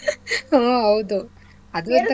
ಹ್ಮ್ ಹೌದು ಅದು ಒಂತರ.